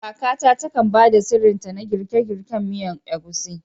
Kakata takan ba da sirrinta na girke-girken miyar Egusi.